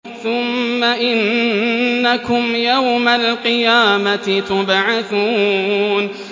ثُمَّ إِنَّكُمْ يَوْمَ الْقِيَامَةِ تُبْعَثُونَ